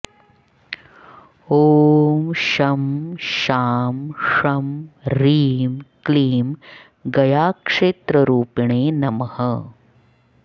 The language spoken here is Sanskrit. ॐ शं शां षं ह्रीं क्लीं गयाक्षेत्ररूपिणे नमः